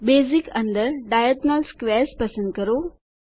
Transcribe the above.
basic અંદર diagonal squares પસંદ કરો